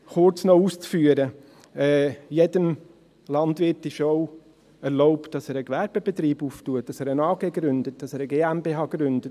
Um es noch kurz auszuführen: Jedem Landwirt ist es erlaubt, dass er einen Gewerbebetrieb öffnet, dass er eine AG gründet, dass er eine GmbH gründet.